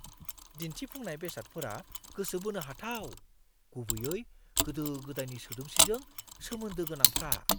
दिन्थिफुंनाय बेसादफोरा गोसो बोनो हाथाव, गुबैयै गोदो-गोदायनि सोदोमस्रिजों सोमोन्दो गोनांफ्रा!